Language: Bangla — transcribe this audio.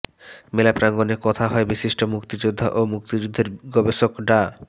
মেলা প্রাঙ্গণে কথা হয় বিশিষ্ট মুক্তিযোদ্ধা ও মুক্তিযুদ্ধের গবেষক ডা